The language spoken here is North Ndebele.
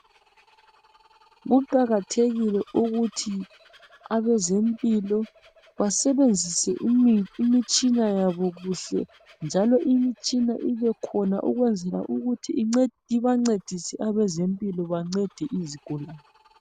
Kuqakathekile ukuthi abezempilo basebenzisa imitshina yabo kuhle njalo imitshina ibe khona ukwenzela ukuthi ibancedise abezempilo bancede izigulani.